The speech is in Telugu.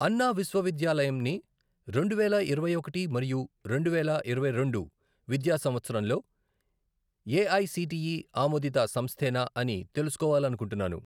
అన్నా విశ్వవిద్యాలయంని రెండువేల ఇరవై ఒకటి మరియు రెండువేల ఇరవై రెండు విద్యా సంవత్సరంలో ఏఐసిటిఈ ఆమోదిత సంస్థేనా అని తెలుసుకోవాలనుకుంటున్నాను.